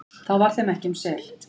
þá var þeim ekki um sel,